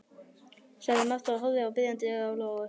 sagði Marta og horfði biðjandi á Lóu.